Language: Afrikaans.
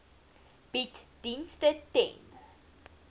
bied dienste ten